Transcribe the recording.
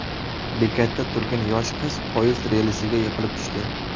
Bekatda turgan yosh qiz poyezd relsiga yiqilib tushdi.